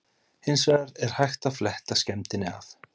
Hins vegar er hægt að fletta skemmdinni af.